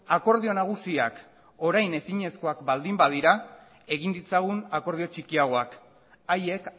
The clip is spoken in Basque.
akordio nagusiak orain ezinezkoak baldin badira egin ditzagun akordio txikiagoak haiek